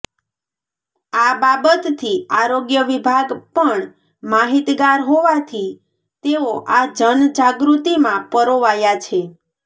આ બાબતથી આરોગ્ય વિભાગ પણ માહિતગાર હોવાથી તેઓ આ જન જાગૃત્તિમાં પરોવાયા છે